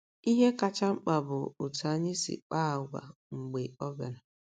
Ihe kacha mkpa bụ otú anyị si kpaa àgwà mgbe ọ bịara.